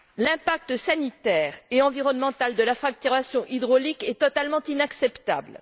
L'impact sanitaire et environnemental de la fracturation hydraulique est totalement inacceptable.